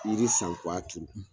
Yiri san kɛ w'a tuuru.